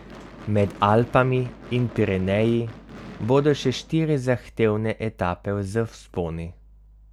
Med Alpami in Pireneji bodo še štiri zahtevne etape z vzponi.